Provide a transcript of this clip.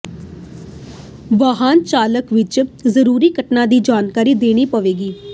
ਵਾਹਨ ਚਾਲਕ ਇਹ ਜ਼ਰੂਰੀ ਘਟਨਾ ਦੀ ਜਾਣਕਾਰੀ ਦੇਣੀ ਪਵੇਗੀ